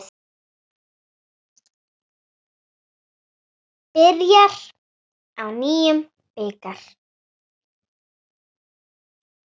Byrjar á nýjum bikar.